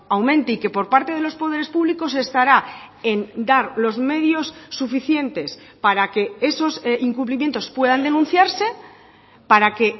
aumente y que por parte de los poderes públicos estará en dar los medios suficientes para que esos incumplimientos puedan denunciarse para que